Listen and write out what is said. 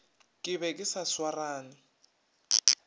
ke be ke sa swarane